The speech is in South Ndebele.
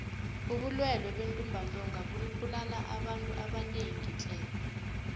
ubulwele bentumbantonga bubulala abantu abanengi tle